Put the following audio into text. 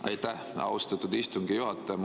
Aitäh, austatud istungi juhataja!